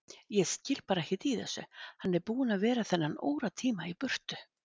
Ég skil bara ekkert í þessu, hann er búinn að vera þennan óratíma í burtu.